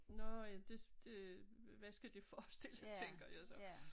Nårh jamen det det hvad skal det forestille tænker jeg så